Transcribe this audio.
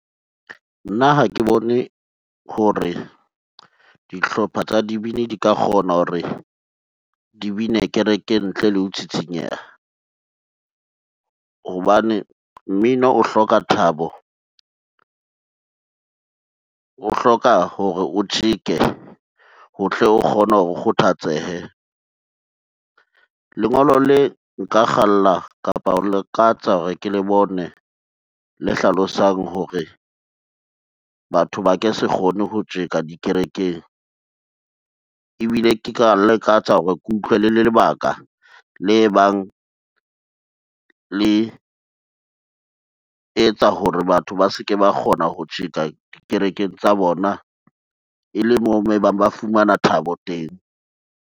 Nna ha ke bone hore dihlopha tsa dibini di ka kgona hore di bine kerekeng ntle le ho tsitsinyeha, hobane mmino o hloka thabo, o hloka hore o tjeke otle o kgone o kgothatsehe. Lengolo le nka kgalla kapa ho lakatsa hore ke le bone le hlalosang hore batho ba ke se kgone ho tjeka dikerekeng, ebile ke ka lakatsa hore ke utlwe le lebaka le bang le etsa hore batho ba se ke ba kgona ho tjeka dikerekeng tsa bona e le moo mo e bang ba fumana thabo teng.